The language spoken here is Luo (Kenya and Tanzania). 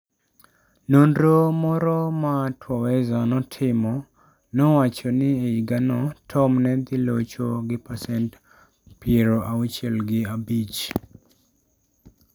Nonro moro ma Twaweza notimo nowacho ni e higano Tom ne dhi locho gi pasent 65 .